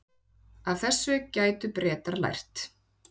Af þessu gætu Bretar lært